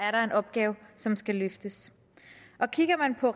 er en opgave som skal løftes kigger man på